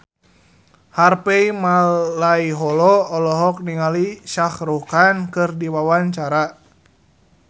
Harvey Malaiholo olohok ningali Shah Rukh Khan keur diwawancara